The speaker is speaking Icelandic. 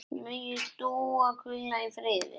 Megi Dúa hvíla í friði.